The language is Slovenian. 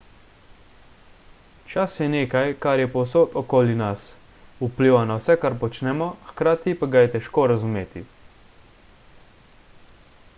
čas je nekaj kar je povsod okoli nas vpliva na vse kar počnemo hkrati pa ga je težko razumeti